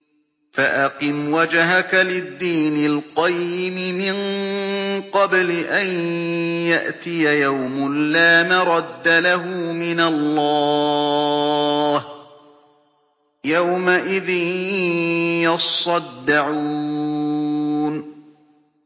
فَأَقِمْ وَجْهَكَ لِلدِّينِ الْقَيِّمِ مِن قَبْلِ أَن يَأْتِيَ يَوْمٌ لَّا مَرَدَّ لَهُ مِنَ اللَّهِ ۖ يَوْمَئِذٍ يَصَّدَّعُونَ